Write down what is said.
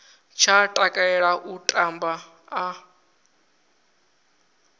tsha takalela u tamba a